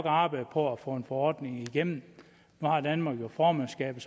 arbejde på at få en forordning igennem nu har danmark jo formandskabet